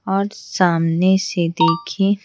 और सामने से देखिए--